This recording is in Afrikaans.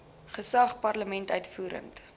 gesag parlement uitvoerende